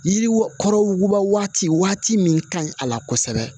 Yiriwa kɔrɔba waati min ka ɲi a la kosɛbɛ